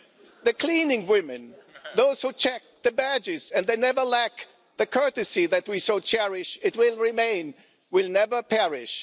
the cleaning women, those who check the badges, and they never lack the courtesy that we so cherish, it will remain, will never perish.